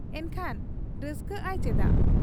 ᱮᱱᱠᱷᱟᱱ ᱨᱟᱹᱥᱠᱟᱹᱜ ᱟᱭ ᱪᱮᱫᱟᱜ ?